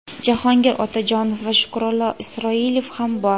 Jahongir Otajonov va Shukrullo Isroilov ham bor.